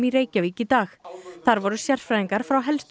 Reykjavík í dag þar voru sérfræðingar frá helstu